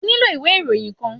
O nílò ìwé ìròyìn kan.